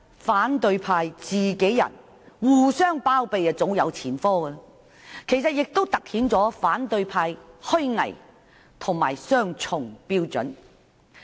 反對派互相包庇早有前科，事件亦突顯了他們的虛偽和雙重標準。